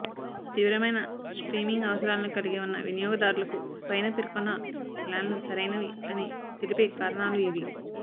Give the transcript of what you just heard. తీవ్రమైన స్ట్రీమింగ్ అవసరాలను కలిగి ఉన్న వినియోగదారులకు పైన పేర్కొన్న ప్లాన్లు సరైనవి అని తెలిపే కారణాలు ఇవి